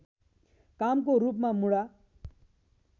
कामको रूपमा मुडा